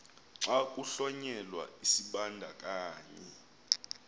xa kuhlonyelwa isibandakanyi